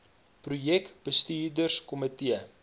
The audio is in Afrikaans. projek bestuurs komitee